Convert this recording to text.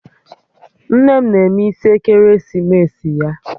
Nne m na-eme isi ekeresimesi ya